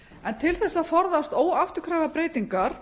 en til þess að forðast óafturkræfar breytingar